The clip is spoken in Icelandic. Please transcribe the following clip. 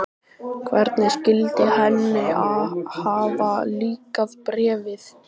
Hvernig skyldi henni hafa líkað Bréfið?